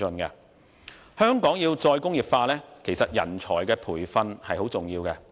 香港要"再工業化"，其實人才的培訓很重要。